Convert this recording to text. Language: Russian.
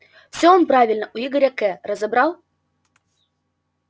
все он правильно у игоря к разобрал